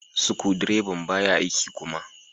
Sukudireban baya aiki kuma.